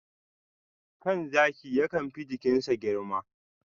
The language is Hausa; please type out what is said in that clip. kan zaki yakan fi jikin a girma.